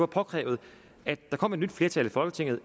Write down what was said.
påkrævet at der kom et nyt flertal i folketinget